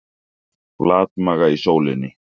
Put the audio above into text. Flatmaga í sólinni